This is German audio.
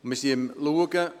Wir sind daran zu schauen: